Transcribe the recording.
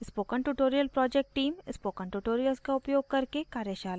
spoken tutorial project team spoken tutorials का उपयोग करके कार्यशालाएं चलाती है